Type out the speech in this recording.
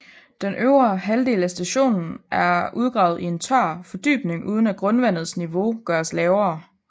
Den øvre halvdel af stationen er udgravet i en tør fordybning uden at grundvandets niveau gøres lavere